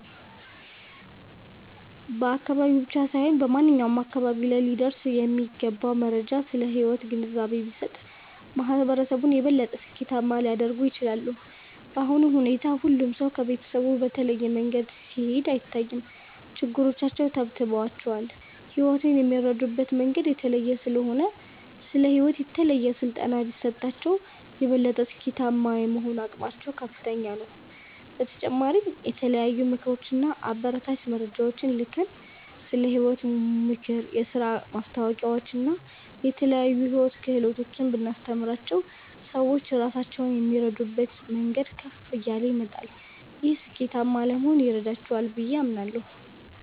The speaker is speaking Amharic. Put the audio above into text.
በአካባቢ ብቻ ሳይሆን በማንኛውም አካባቢ ላይ ሊደርሱ የሚገቡ መረጃዎች ስለ ሕይወት ግንዛቤ ቢሰጡ፣ ማህበረሰቡን የበለጠ ስኬታማ ሊያደርጉት ይችላሉ። በአሁኑ ሁኔታ ሁሉም ሰው ከቤተሰቡ በተለየ መንገድ ሲሄድ አይታይም፤ ችግሮቻቸው ተብትበዋቸዋል። ሕይወትን የሚረዱበት መንገድ የተለየ ስለሆነ፣ ስለ ሕይወት የተለየ ስልጠና ቢሰጣቸው፣ የበለጠ ስኬታማ የመሆን አቅማቸው ከፍተኛ ነው። በተጨማሪም የተለያዩ ምክሮች እና አበረታች መረጃዎችን ልከን፣ ስለ ሕይወት ምክር፣ የሥራ ማስታወቂያዎችን እና የተለያዩ የሕይወት ክህሎቶችን ብናስተምራቸው፣ ሰዎች ራሳቸውን የሚረዱበት መንገድ ከፍ እያለ ይመጣል። ይህም ስኬታማ ለመሆን ይረዳቸዋል ብዬ አምናለሁ።